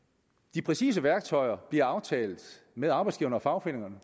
de præcise værktøjer bliver aftalt med arbejdsgiverne og fagforeningerne